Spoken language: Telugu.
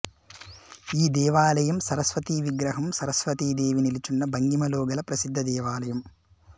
ఈ దేవాలయం సరస్వతి విగ్రహం సరస్వతి దేవి నిలుచున్న భంగిమలో గల ప్రసిద్ధ దేవాలయం